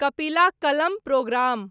कपिला कलम प्रोग्राम